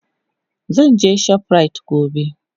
Zan je shoprite gobe.